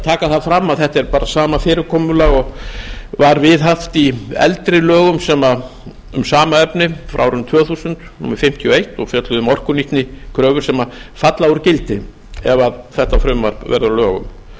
taka fram að þetta er bara sama fyrirkomulag og var viðhaft í eldri lögum um sama efni frá árinu tvö þúsund númer fimmtíu og eitt tvö þúsund og fjölluðu um orkunýtnikröfur sem falla úr gildi ef þetta frumvarp verður að